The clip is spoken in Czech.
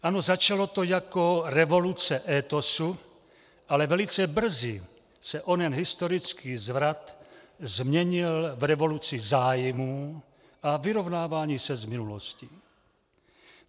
Ano, začalo to jako revoluce étosu, ale velice brzy se onen historický zvrat změnil v revoluci zájmů a vyrovnávání se s minulostí.